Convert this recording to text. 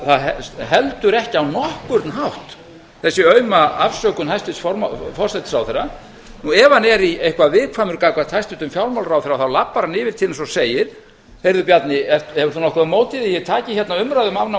það er heldur ekki á nokkuð hátt þessi auma afsökun hæstvirts forsætisráðherra ef hann er eitthvað viðkvæmur gagnvart hæstvirtum fjármálaráðherra þá labbar hann yfir til hans og segir heyrðu bjarni hefur þú nokkuð á móti því að ég taki hérna umræðu um afnám